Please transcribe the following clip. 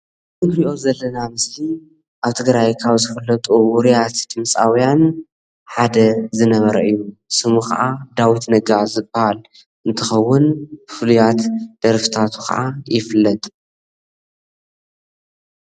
እዚ ንሪኦ ዘለና ምስሊ ኣብ ትግራይ ካብ ዝፍለጡ ዉርያት ድምፃዉያን ሓደ ዝነበረ እዩ። ስሙ ከዓ ዳዊት ነጋ ዝበሃል እንትከዉን ብፍሉያት ደርፍታቱ ከዓ ይፍልጥ።